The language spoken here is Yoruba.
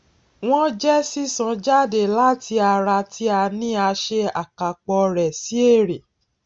wón jẹ sísan jáde láti ara tí a ní a ṣe àkàpọ rẹ sí èrè